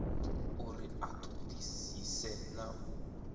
uri a ṱoḓisise na u